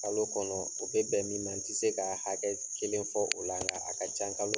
Kalo kɔnɔ o bɛ bɛn min ma, n ti se ka hakɛ kelen fɔ, o la, n ka a ka can kalo